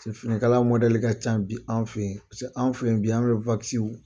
Finikala mɔdɛli ka ca bi an fɛ yen, paseke an filɛ bi an ka